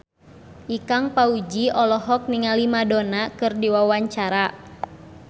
Ikang Fawzi olohok ningali Madonna keur diwawancara